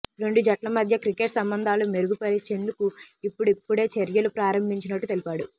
రెండు జట్ల మధ్య క్రికెట్ సంబంధాలు మెరుగు పరిచేందుకు ఇప్పుడిప్పుడే చర్యలు ప్రారంభించినట్టు తెలిపాడు